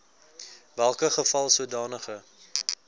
welke geval sodanige